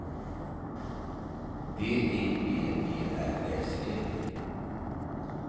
D I V E R S E